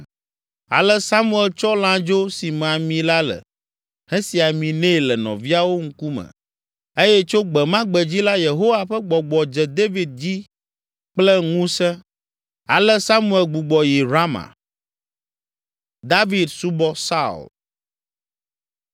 Ale Samuel tsɔ lãdzo si me ami la le, hesi ami nɛ le nɔviawo ŋkume eye tso gbe ma gbe dzi la Yehowa ƒe Gbɔgbɔ dze David dzi kple ŋusẽ. Ale Samuel gbugbɔ yi Rama.